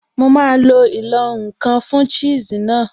Mo máa lo ìlọ̀-nǹkan fun cheese náà